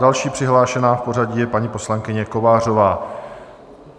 Další přihlášená v pořadí je paní poslankyně Kovářová.